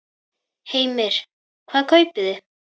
Heimir: Hvað kaupið þið?